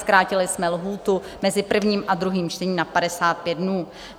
Zkrátili jsme lhůtu mezi prvním a druhým čtením na 55 dnů.